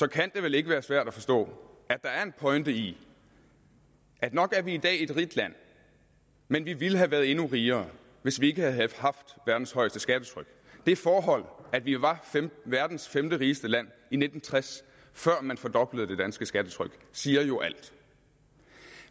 kan det vel ikke være svært at forstå at der er en pointe i at nok er vi i dag et rigt land men vi ville have været endnu rigere hvis vi ikke havde haft verdens højeste skattetryk det forhold at vi var verdens femterigeste land i nitten tres før man fordoblede det danske skattetryk siger jo alt